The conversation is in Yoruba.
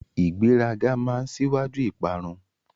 Ìgbéraga máa n síwájú ìparun.